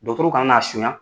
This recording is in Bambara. Dɔtɔrɔw kana n'a sonya.